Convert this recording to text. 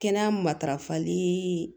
Kɛnɛya matarafali